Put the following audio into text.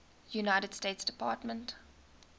united states department